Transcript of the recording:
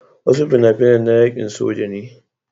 Wasu fina-finan na yaƙin soja ne.